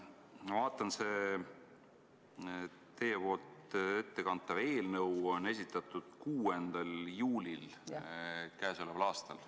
Ma vaatan, et teie ettekantav eelnõu on esitatud 6. juulil käesoleval aastal.